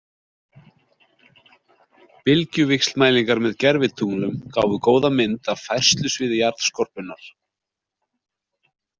Bylgjuvíxlmælingar með gervitunglum gáfu góða mynd af færslusviði jarðskorpunnar.